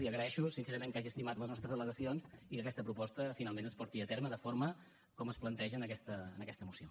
li agraeixo que hagi estimat les nostres al·legacions i que aquesta proposta finalment es porti a terme de forma com es planteja en aquesta moció